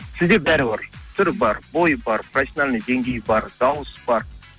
сізде бәрі бар түр бар бой бар професиональный деңгей бар дауыс бар